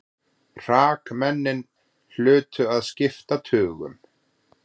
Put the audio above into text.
Hrakmennin hlutu að skipta tugum.